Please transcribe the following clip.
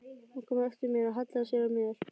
Hún kom á eftir mér og hallaði sér að mér.